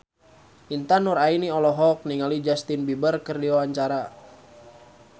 Intan Nuraini olohok ningali Justin Beiber keur diwawancara